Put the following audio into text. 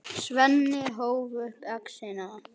Svenni hóf upp exina.